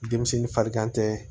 Denmisɛnnin farigan tɛ